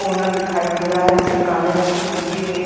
owner दिखाई दे रहा है जो कि काले रंग की कुर्सी पे --